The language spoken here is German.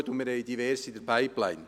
Wir haben diverse in der Pipeline.